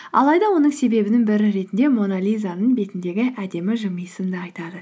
алайда оның себебінің бірі ретінде мона лизаның бетіндегі әдемі жымиысын да айтады